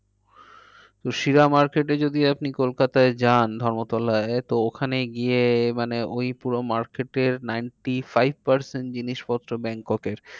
তো শিলা market এ যদি আপনি কলকাতায় যান ধর্মতলায় তো ওখানে গিয়ে মানে ওই পুরো market এর ninety five percent জিনিস পত্র ব্যাংককের।